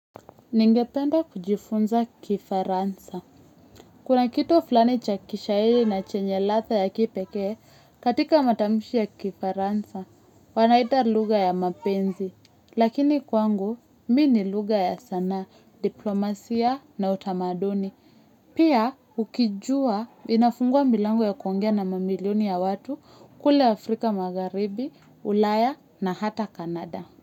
Ningependa kujifunza kifaransa. Kuna kitu fulani cha kishaili na chenye latha ya kipekee katika matamushi ya kifaransa, wanaita luga ya mapenzi. Lakini kwangu, mi ni luga ya sanaa, diplomasia na utamaduni. Pia ukijua inafungua milango ya kuongea na mamilioni ya watu kule Afrika Magaribi, Ulaya na hata Kanada.